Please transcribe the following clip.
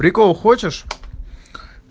прикол хочешь